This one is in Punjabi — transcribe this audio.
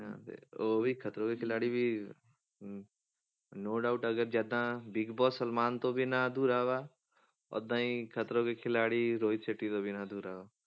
ਹਾਂ ਫਿਰ ਉਹ ਵੀ ਖਤਰੋਂ ਕੇ ਖਿਲਾਡੀ ਵੀ ਹਮ no doubt ਅਗਰ ਜਿੱਦਾਂ ਬਿਗ ਬੋਸ ਸਲਮਾਨ ਤੋਂ ਬਿਨਾਂ ਅਧੂਰਾ ਵਾ ਓਦਾਂ ਹੀ ਖਤਰੋਂ ਕੇ ਖਿਲਾਡੀ ਰੋਹਿਤ ਸੈਟੀ ਤੋਂ ਬਿਨਾਂ ਅਧੂਰਾ ਵਾ।